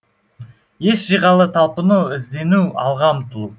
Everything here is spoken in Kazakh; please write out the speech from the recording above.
ес жиғалы талпыну іздену алға ұмтылу